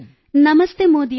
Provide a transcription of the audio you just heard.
ನಮಸ್ತೆ ಮೋದಿಯವರೆ